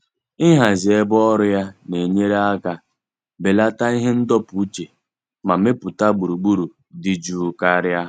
Ịhazi ebe ọrụ ya na-enyere aka belata ihe ndọpụ uche ma mepụta gburugburu dị jụụ karịa.